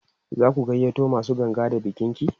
zaku gayyato masu ganga da bikin ki?